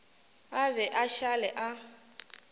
a be a šale a